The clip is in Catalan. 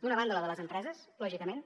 d’una banda la de les empreses lògicament